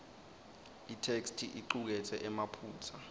itheksthi icuketse emaphutsa